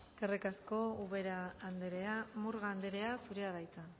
eskerrik asko ubera andrea murga andrea zurea da hitza